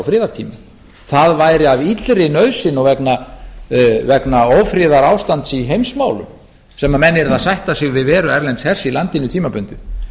friðartímum það væri af illri nauðsyn og vegna ófriðarástands í heimsmálum sem menn yrðu að sætta sig við veru erlends hers í landinu tímabundið